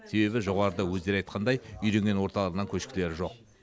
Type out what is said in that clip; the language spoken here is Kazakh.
себебі жоғарыда өздері айтқандай үйренген орталарынан көшкілері жоқ